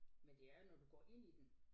Men det er jo når du går ind i den